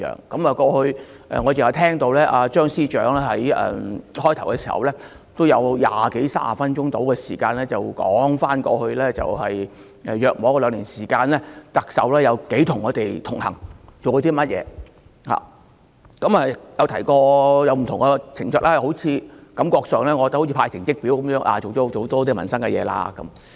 剛才我聆聽張司長辯論開始時的發言，他用二三十分鐘時間來談論特首在過去大約兩年時間如何與我們同行、做過甚麼工作，又提及不同情況，感覺好像是派成績表般，做了很多民生的事情。